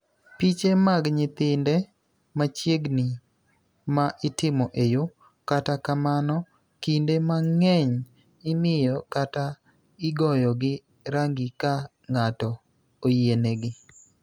Piche mag nyithinde machiegni ma itimo e yo, kata kamano, kinde mang�eny imiye kata igoyogi rangi ka ng�ato oyienegi.